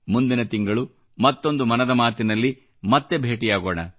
ಮುಂದಿನ ತಿಂಗಳು ಮತ್ತೊಂದು ಮನದ ಮಾತಿನಲ್ಲಿ ಮತ್ತೆ ಭೇಟಿಯಾಗೋಣ